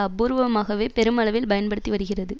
அபூர்வமாகவே பெருமளவில் பயன்படுத்தி வருகிறது